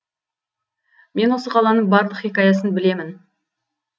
мен осы қаланың барлық хикаясын білемін